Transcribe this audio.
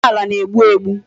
Nsọ ala na-egbu egbu.